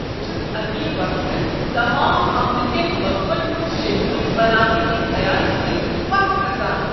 بہٕ چھُس اکی وقتہٕ تمام عملہ کٮ۪ن وقفن ہنٛد شیڈول بناونہٕ کہ خیال سۭتۍ پتھ كھسان۔